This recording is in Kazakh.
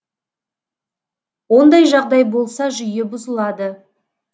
ондай жағдай болса жүйе бұзылады